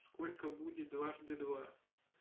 сколько будет дважды два